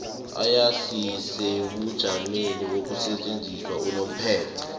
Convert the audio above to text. ayisisebujameni bokusetjenziswa unomphela